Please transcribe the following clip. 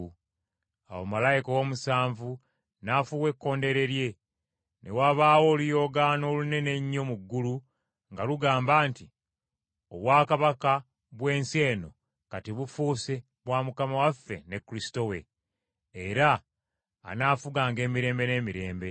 Awo malayika ow’omusanvu n’afuuwa ekkondeere lye, ne wabaawo oluyoogaano olunene ennyo mu ggulu nga lugamba nti, “Obwakabaka bw’ensi eno kati bufuuse bwa Mukama waffe ne Kristo we, era anaafuganga emirembe n’emirembe.”